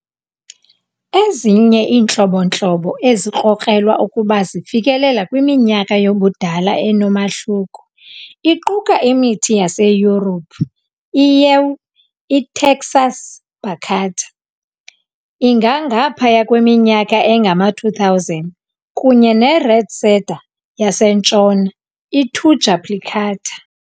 ezinye iintlobo-ntlobo ezikrokrelwa ukuba zifikelela kwiminyaka yobudala enomahluko, iquka imithi yaseYurophu i-Yew "iTaxus baccata", ingangaphaya kweminyaka engama-2,000, kunye neRedcedar yasentshona "iThuja plicata".